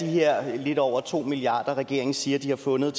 her lidt over to milliarder som regeringen siger de har fundet